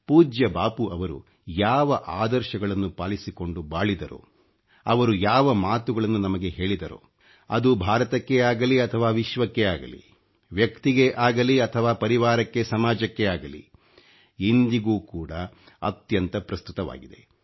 ಪೂಜ್ಯ ಬಾಪೂ ರವರು ಯಾವ ಆದರ್ಶಗಳನ್ನು ಪಾಲಿಸಿಕೊಂಡು ಬಾಳಿದರೋ ಅವರು ಯಾವ ಮಾತುಗಳನ್ನು ನಮಗೆ ಹೇಳಿದರೋ ಅದು ಭಾರತಕ್ಕೇ ಅಗಲಿ ಅಥವಾ ವಿಶ್ವಕ್ಕೇ ಅಗಲಿ ವ್ಯಕ್ತಿಗೇ ಆಗಲಿ ಅಥವಾ ಪರಿವಾರಕ್ಕೆ ಸಮಾಜಕ್ಕೇ ಅಗಲಿ ಇಂದಿಗೂ ಕೂಡ ಅತ್ಯಂತ ಪ್ರಸ್ತುತವಾಗಿದೆ